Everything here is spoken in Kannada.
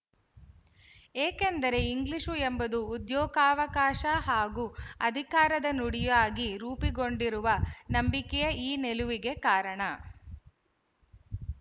ಏಕೆಂದರೆ ಇಂಗ್ಲಿಶು ಎಂಬುದು ಉದ್ಯೋಗಾವಕಾಶ ಹಾಗೂ ಅಧಿಕಾರದ ನುಡಿಯಾಗಿ ರೂಪುಗೊಂಡಿರುವ ನಂಬಿಕೆಯೇ ಈ ನಿಲುವಿಗೆ ಕಾರಣ